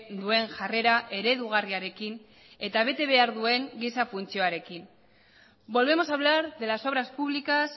duen jarrera eredugarriarekin eta bete behar duen giza funtzioarekin volvemos a hablar de las obras públicas